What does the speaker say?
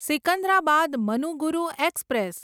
Secunderabad Manuguru express